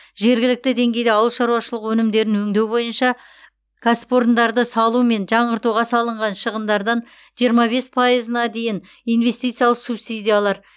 жергілікті деңгейде ауыл шаруашылығы өнімдерін өңдеу бойынша кәсіпорындары салу мен жаңғыртуға салынған шығындардан жиырма бес пайызына дейін инестициялық субсидиялар